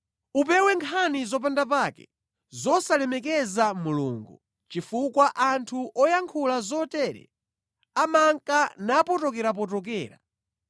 Upewe nkhani zopanda pake, zosalemekeza Mulungu, chifukwa anthu oyankhula zotere amanka napotokerapotokera.